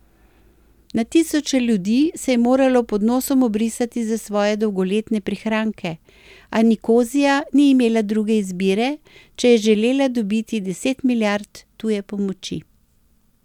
Na tisoče ljudi se je moralo pod nosom obrisati za svoje dolgoletne prihranke, a Nikozija ni imela druge izbire, če je želela dobiti deset milijard tuje pomoči.